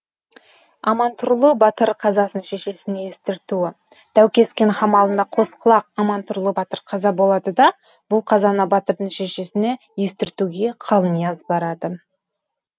амантұрлы батыр қазасын шешесіне естіртуідәукескен қамалында қоскұлақ амантұрлы батыр қаза болады да бұл қазаны батырдың шешесіне естіртуге қалнияз барады